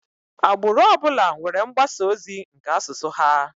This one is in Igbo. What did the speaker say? Agbụrụ ọbụla nwere mgbasa ozi nke asụsụ ha.